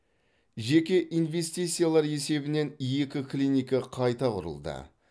жеке инвестициялар есебінен екі клиника қайта құрылды